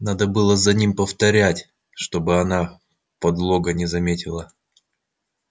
надо было за ним повторять чтобы она подлога не заметила